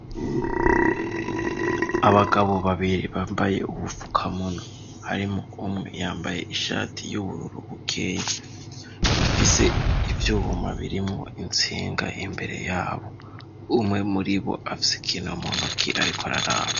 Abagabo babiri bambaye ubufukamunwa harimwo umwe yambaye ishati y'ubururu bukeyi, bafise ivyuma birimwo intsinga imbere yabo. Umwe muri bo afise ikintu mu ntoki ariko araraba.